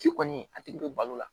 Ci kɔni a tigi bɛ balo la